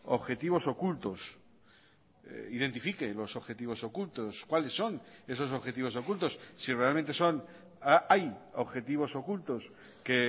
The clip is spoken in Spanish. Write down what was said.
objetivos ocultos identifique los objetivos ocultos cuáles son esos objetivos ocultos si realmente son hay objetivos ocultos que